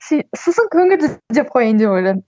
сосын көңілді деп қояйын деп ойладым